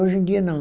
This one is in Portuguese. Hoje em dia, não.